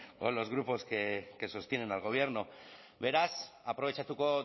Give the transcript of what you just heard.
o los grupos que sostienen al gobierno beraz aprobetxatuko